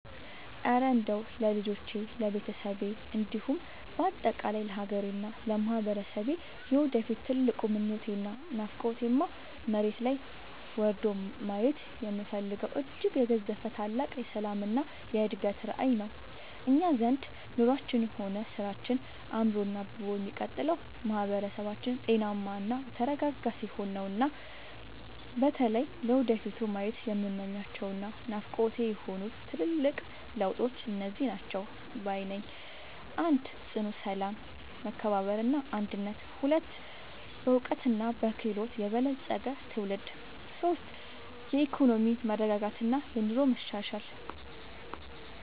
እረ እንደው ለልጆቼ፣ ለቤተሰቤ እንዲሁም በአጠቃላይ ለሀገሬና ለማህበረሰቤ የወደፊት ትልቁ ምኞቴና ናፍቆቴማ፣ መሬት ላይ ወርዶ ማየት የምፈልገው እጅግ የገዘፈ ታላቅ የሰላምና የእድገት ራዕይ ነው! እኛ ዘንድ ኑሯችንም ሆነ ስራችን አምሮና አብቦ የሚቀጥለው ማህበረሰባችን ጤናማና የተረጋጋ ሲሆን ነውና። በተለይ ለወደፊቱ ማየት የምመኛቸውና ናፍቆቴ የሆኑት ትልልቅ ለውጦች እነዚህ ናቸው ባይ ነኝ፦ 1. ጽኑ ሰላም፣ መከባበርና አንድነት 2. በዕውቀትና በክህሎት የበለፀገ ትውልድ 3. የኢኮኖሚ መረጋጋትና የኑሮ መሻሻል